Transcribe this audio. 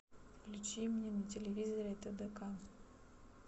включи мне на телевизоре тдк